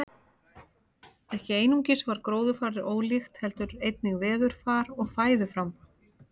Ekki einungis var gróðurfarið ólíkt heldur einnig veðurfar og fæðuframboð.